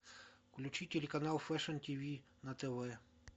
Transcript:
включи телеканал фэшен тиви на тв